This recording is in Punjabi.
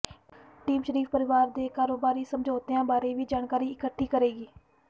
ਟੀਮ ਸ਼ਰੀਫ ਪਰਿਵਾਰ ਦੇ ਕਾਰੋਬਾਰੀ ਸਮਝੌਤਿਆਂ ਬਾਰੇ ਵੀ ਜਾਣਕਾਰੀ ਇਕੱਠੀ ਕਰੇਗੀ